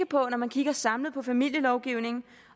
på når man kigger samlet på familielovgivningen